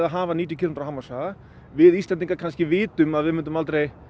hafa níutíu kílómetra hámarkshraða við Íslendingar vitum kannski að við myndum aldrei